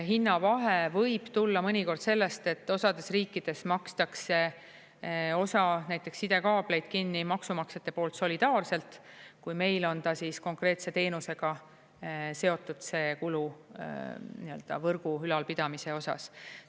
Hinnavahe võib tulla mõnikord sellest, et osades riikides makstakse osa näiteks sidekaableid kinni maksumaksjate poolt solidaarselt, kui meil on ta konkreetse teenusega seotud kulu võrgu ülalpidamise osas.